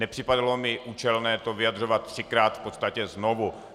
Nepřipadalo mi účelné to vyjadřovat třikrát v podstatě znovu.